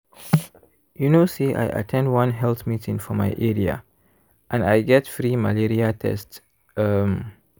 you know say i at ten d one health meeting for my area and i get free malaria test. um